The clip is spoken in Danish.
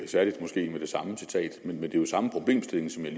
særligt måske med det samme citat men det er jo samme problemstilling som jeg